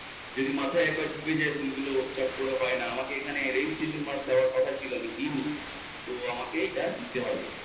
যদি মাথায় একবার ঢুকে যায় ভুলগুলো ছোট করে হয়না আমাকে এখানে registration mark দেওয়ার কথা ছিল আমি দেইন, তো আমাকে ইটা দিতে হবে।